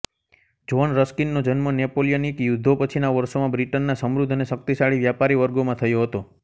John રસ્કિનનો જન્મ નેપોલિયનિક યુદ્ધો પછીના વર્ષોમાં બ્રિટનના સમૃદ્ધ અને શક્તિશાળી વ્યાપારી વર્ગોમાં થયો હતો